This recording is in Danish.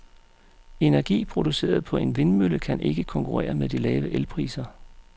Energi produceret på en vindmølle kan ikke konkurrere med de lave elpriser.